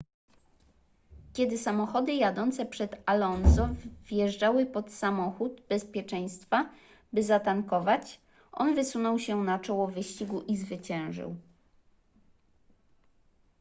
kiedy samochody jadące przed alonso wjeżdżały pod samochód bezpieczeństwa by zatankować on wysunął się na czoło wyścigu i zwyciężył